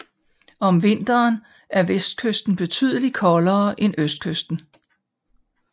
Om vinteren er vestkysten betydeligt koldere end østkysten